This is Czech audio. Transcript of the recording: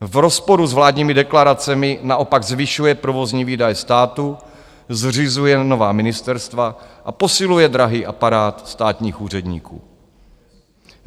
V rozporu s vládními deklaracemi naopak zvyšuje provozní výdaje státu, zřizuje nová ministerstva a posiluje drahý aparát státních úředníků.